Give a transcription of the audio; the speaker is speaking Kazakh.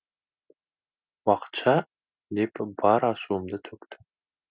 уақытша деп бар ашуымды төктім